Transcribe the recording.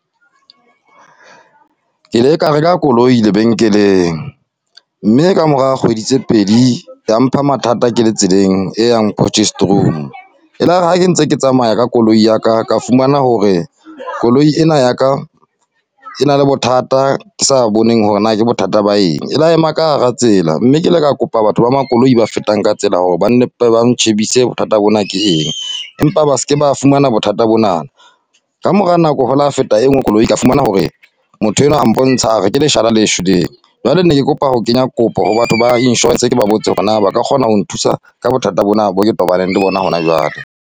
Ke ile ka reka koloi lebenkeleng, mme ka mora kgwedi tse pedi, ya mpha mathata ke le tseleng e yang Porchestroom. E lare ha ke ntse ke tsamaya ka koloi ya ka, ka fumana hore koloi ena ya ka, e na le bothata sa boneng hore na bothata ba eng. E ila ema ka hara tsela, mme ke le ka kopa batho ba makoloi ba fetang ka tsela hore ba ba ntjhebise bothata bona ke eng. Empa ba seke ba fumana bothata bona. Ka mora nako ho ile hwa feta e nngwe koloi, ka fumana hore motho enwa a mpontsha, a re ke leshala le shweleng. Jwale ne ke kopa ho kenya kopo ho batho ba insurance, ke ba botse hore na ba ka kgona ho nthusa ka bothata bona bo ke tobaneng le bona hona jwale.